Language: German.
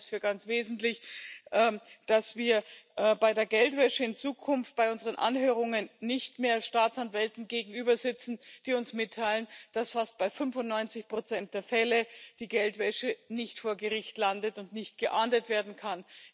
Ich halte es für ganz wesentlich, dass wir bei der Geldwäsche in Zukunft bei unseren Anhörungen nicht mehr Staatsanwälten gegenübersitzen, die uns mitteilen, dass bei fast 95 der Fälle die Geldwäsche nicht vor Gericht landet und nicht geahndet werden kann.